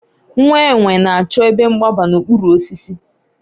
nwa enwe na-achọ ebe mgbaba n'okpuru osisi